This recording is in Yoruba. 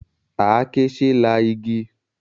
Àáké ṣe é la igi.